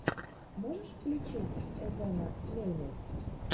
можешь включить эзонна мельмель